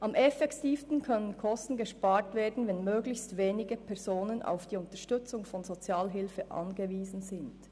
«Am effektivsten können Kosten gespart werden, wenn möglichst wenige Personen auf die Unterstützung von Sozialhilfe angewiesen sind.